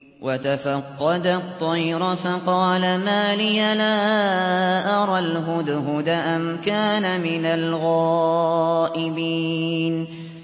وَتَفَقَّدَ الطَّيْرَ فَقَالَ مَا لِيَ لَا أَرَى الْهُدْهُدَ أَمْ كَانَ مِنَ الْغَائِبِينَ